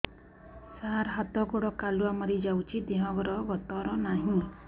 ସାର ହାତ ଗୋଡ଼ କାଲୁଆ ମାରି ଯାଉଛି ଦେହର ଗତର ନାହିଁ